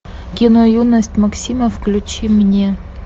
кино юность максима включи мне